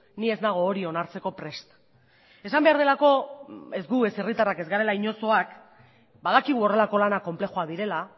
ni ez nago hori onartzeko prest esan behar delako ez gu ezta herritarrak ere ez garela inozoak badakigu horrelako lanak konplexuak direla